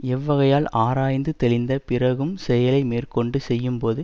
எவ்வகையால் ஆராய்ந்து தெளிந்த பிறகும்செயலை மேற்க்கொண்டு செய்யும் போது